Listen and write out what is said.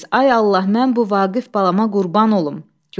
Ay Allah, mən bu Vaqif balama qurban olum.